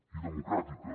i democràtica